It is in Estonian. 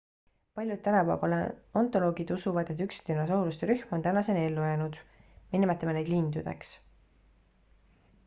paljud tänapäeva paleontoloogid usuvad et üks dinosauruste rühm on tänaseni ellu jäänud me nimetame neid lindudeks